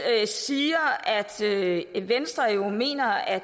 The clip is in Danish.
siger at venstre jo mener at